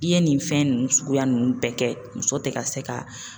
I ye nin fɛn nunnu suguya nunnu bɛɛ kɛ muso ti ka se ka